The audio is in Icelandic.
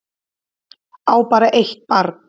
Á bara eitt barn